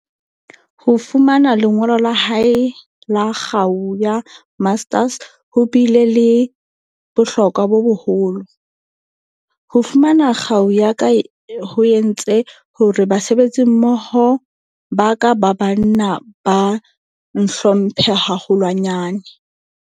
Ho fumana lengolo la hae la kgau ya Master's ho bile le bohlokwa bo boholo. Ho fu mana kgau ya ka ho entse hore basebetsimmoho ba ka ba ba nna ba ntlhomphe haholwa nyane.